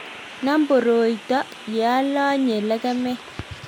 nam boroito ye alanye lekemet